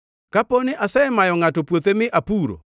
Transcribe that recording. “Kapo ni asemayo ngʼato puothe mi apuro,